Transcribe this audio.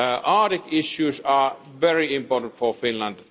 Arctic issues are very important for Finland.